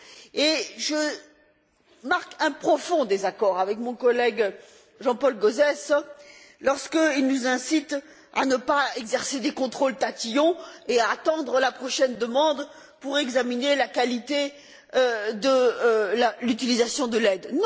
Et je marque un profond désaccord avec mon collègue Jean Paul Gauzès lorsqu'il nous incite à ne pas exercer des contrôles tatillons et à attendre la prochaine demande pour examiner la qualité de l'utilisation de l'aide.